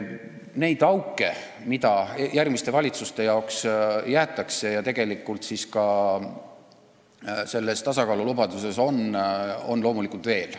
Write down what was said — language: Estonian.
Neid auke, mis järgmiste valitsuste jaoks jäetakse ja mida tegelikult ka selles tasakaalulubaduses on, on loomulikult veel.